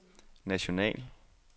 national